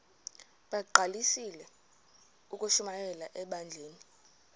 bagqalisele ukushumayela ebandleni